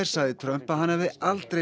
sagði Trump að hann hefði aldrei